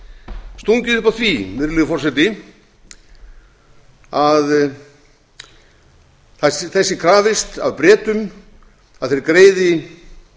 stungið upp á því virðulegi forseti að þess sé krafist af bretum að þeir greiði